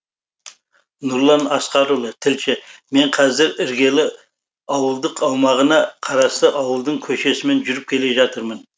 нұрлан асқарұлы тілші мен қазір іргелі ауылдық аумағына қарасты ауылдың көшесімен жүріп келе жатырмын